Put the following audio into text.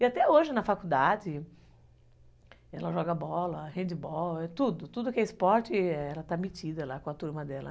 E até hoje, na faculdade, ela joga bola, handball, tudo, tudo que é esporte, ela está metida lá com a turma dela.